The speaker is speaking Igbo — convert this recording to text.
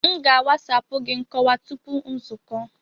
M ga a wasapu gị nkọwa tupu nzukọ.